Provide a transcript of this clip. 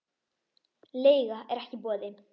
Leiga er ekki í boði.